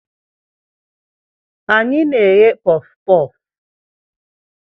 Anyị na-eghe puff puff.